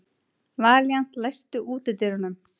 Valíant, læstu útidyrunum.